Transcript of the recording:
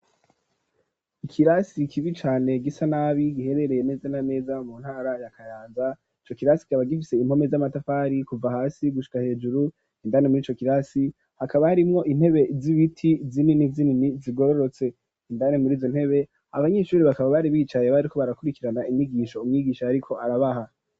Ikirasi kibi cane gisa nabi giherereye neza n'ameza mu ntara ya kayaza ico kirasi kaba gifise impome z'amatafari kuva hasi gushwa hejuru indane muri Ico kirasi hakaba harimwo intebe z'ibiti zinini zinini zigororotse indane muri izo ntebe abanyeshuri bakaba bari bicaye bariko barakurikirana inyigisho umwigisha ariko arabaha.